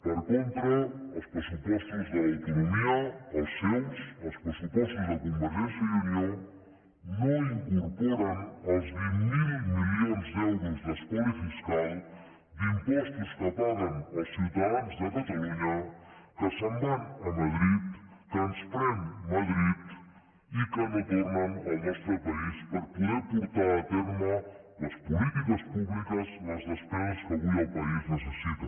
per contra els pressupostos de l’autonomia els seus els pressupostos de convergència i unió no incorporen el vint miler milions d’euros d’espoli fiscal d’impostos que paguen els ciutadans de catalunya que se’n van a madrid que ens pren madrid i que no tornen al nostre país per poder portar a terme les polítiques públiques les despeses que avui el país necessita